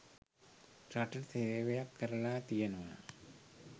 රටට සේවයක් කරලා තියෙනවා